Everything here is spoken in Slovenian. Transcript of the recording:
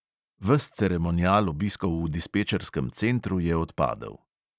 Ves ceremonial obiskov v dispečerskem centru je odpadel.